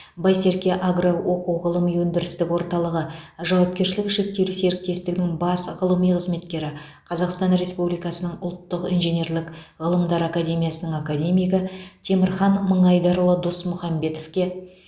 байсерке агро оқу ғылыми өндірістік орталығы жауапкершілігі шектеулі серіктестігінің бас ғылыми қызметкері қазақстан республикасының ұлттық инженерлік ғылымдар академиясының академигі темірхан мыңайдарұлы досмұхамбетовке